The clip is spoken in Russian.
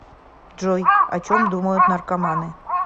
джой о чем думают наркоманы